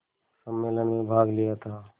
सम्मेलन में भाग लिया था